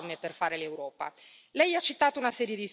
Abbiamo davanti a noi un lavoro enorme per